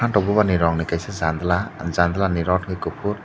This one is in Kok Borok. omo to buma ni rong ni kaisa janla janla ni rod unkkha ke kufur.